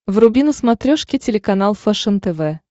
вруби на смотрешке телеканал фэшен тв